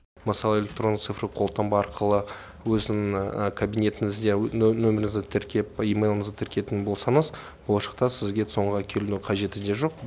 мысалы электронды цифрлық қолтаңба арқылы өзінің кабинетіңізде нөміріңізді тіркеп имейліңізді тіркейтін болсаңыз болашақта сізге цон ға келудің қажеті де жоқ